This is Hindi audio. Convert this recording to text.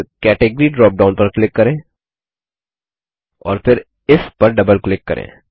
फिर कैटेगरी ड्रॉपडाउन पर क्लिक करें और फिर इफ पर डबल क्लिक करें